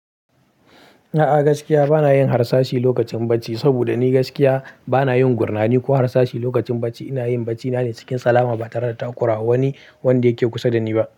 A'a gaskiya bana yin harsashi lokacin ɓacci, saboda ni gaskiya bana yin gurnani ko harsashi lokacin ɓacci. Ina yin bacina ne cikin salama ba tare da takura wani wanda yake kusa da ni ba.